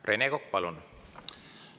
Rene Kokk, palun!